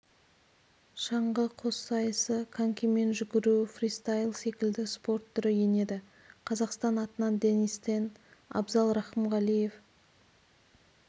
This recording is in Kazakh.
шаңғы қоссайысы конькимен жүгіру фристайл секілді спорт түрі енеді қазақстан атынан денис тен абзал рақымғалиев